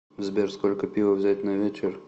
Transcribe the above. сбер сколько пива взять на вечер